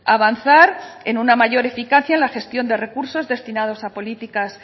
avanzar en una mayor eficacia en la gestión de recursos destinados a políticas